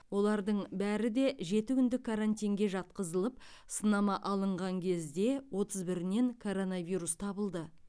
олардың бәрі де жеті күндік карантинге жатқызылып сынама алынған кезде отыз бірінен коронавирус табылды